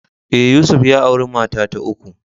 Ee, Yusuf ya auri mata ta uku.